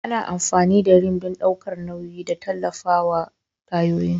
Ana amfani da Rim don ɗaukar nauyi da tallafawa tayoyin.